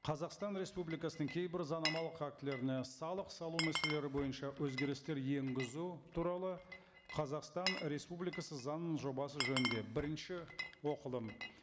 қазақстан республикасының кейбір заңнамалық актілеріне салық салу мәселелері бойынша өзгерістер енгізу туралы қазақстан республикасы заңының жобасы жөнінде бірінші оқылым